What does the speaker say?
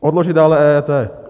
Odložit dále EET.